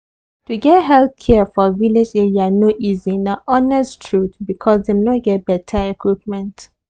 to get health care for village area no easy na honest truth because dem no get better equipment.